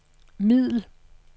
middel